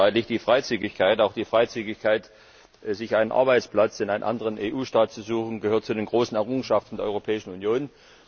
Es ist unstreitig Die Freizügigkeit auch die Freizügigkeit, sich einen Arbeitsplatz in einem anderen EU Staat zu suchen gehört zu den großen Errungenschaften der Europäischen Union.